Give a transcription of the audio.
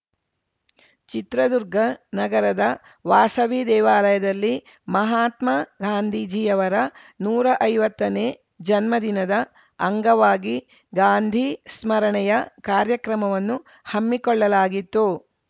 ಚಿತ್ರದುರ್ಗ ನಗರದ ವಾಸವಿ ದೇವಾಲಯದಲ್ಲಿ ಮಹಾತ್ಮ ಗಾಂಧೀಜಿಯವರ ನೂರಾ ಐವತ್ತನೇ ಜನ್ಮದಿನದ ಅಂಗವಾಗಿ ಗಾಂಧಿ ಸ್ಮರಣೆಯ ಕಾರ್ಯಕ್ರಮವನ್ನು ಹಮ್ಮಿಕೊಳ್ಳಲಾಗಿತ್ತು